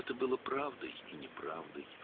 Bu, həm həqiqət, həm də yalan idi.